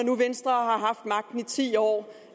nu venstre har haft magten i ti år